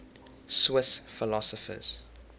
swiss philosophers